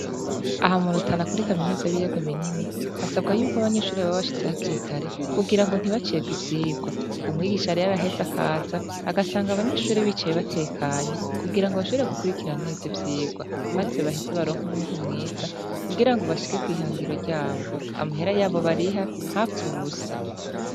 Aha mu rutana kuri kaminuza y'ibiyaga binini hasabwa yuko abanyeshure baba bashitse hakiri kare kugirango ntibacegwe ivyigwa, umwigisha rero araheze akaza agasanga abanyeshure bicaye batekanye kugirango bashobore gukurikira neza ivyigwa, maze baheze baronke umwimbu mwiza kugirango bashike kwihangiro ryabo, amahera yabo bariha ntapfe ubusa.